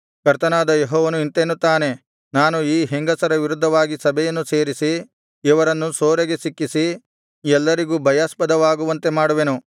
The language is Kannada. ಕರ್ತನಾದ ಯೆಹೋವನು ಇಂತೆನ್ನುತ್ತಾನೆ ನಾನು ಈ ಹೆಂಗಸರ ವಿರುದ್ಧವಾಗಿ ಸಭೆಯನ್ನು ಸೇರಿಸಿ ಇವರನ್ನು ಸೂರೆಗೆ ಸಿಕ್ಕಿಸಿ ಎಲ್ಲರಿಗೂ ಭಯಾಸ್ಪದವಾಗುವಂತೆ ಮಾಡುವೆನು